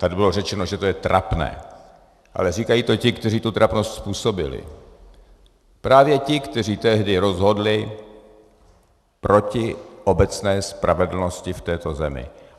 Tady bylo řečeno, že je to trapné, ale říkají to ti, kteří tu trapnost způsobili, právě ti, kteří tehdy rozhodli proti obecné spravedlnosti v této zemi.